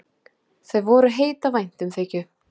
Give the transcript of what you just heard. Þau voru heit af væntumþykju.